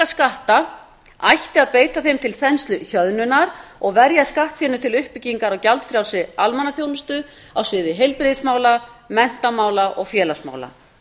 skatta ætti að beita þeim til þensluhjöðnunar og verja skattfénu til uppbyggingar á gjaldfrjálsri almannaþjónustu á sviði heilbrigðismála menntamála og félagsmála